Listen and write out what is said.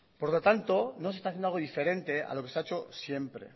por lo tanto no se está haciendo algo diferente a lo que se ha hecho siempre